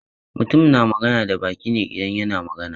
Mutum na magana da baki ne idan yana magana.